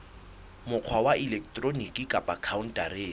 mokgwa wa elektroniki kapa khaontareng